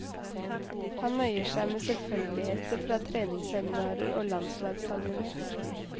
Han nøyer seg med selvfølgeligheter fra trenerseminarer og landslagssamlinger.